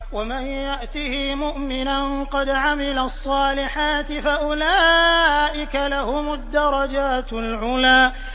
وَمَن يَأْتِهِ مُؤْمِنًا قَدْ عَمِلَ الصَّالِحَاتِ فَأُولَٰئِكَ لَهُمُ الدَّرَجَاتُ الْعُلَىٰ